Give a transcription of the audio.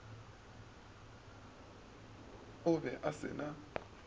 o be o se na